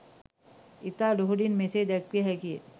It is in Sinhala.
ඉතා ලුහුඬින් මෙසේ දැක්විය හැකි ය